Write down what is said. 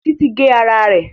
Títí gé ara ẹ̀